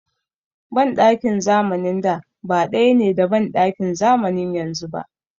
Banɗakin zamanin da ba ɗaya ne da banɗakin zamanin yanzu ba.